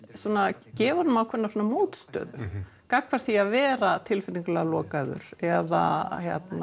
gefur honum ákveðna mótstöðu gagnvart því að vera tilfinningalega lokaður eða